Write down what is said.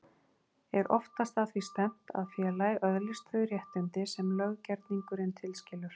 Er oftast að því stefnt að félagið öðlist þau réttindi sem löggerningurinn tilskilur.